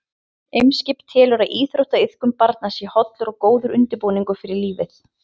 Eimskip telur að íþróttaiðkun barna sé hollur og góður undirbúningur fyrir lífið.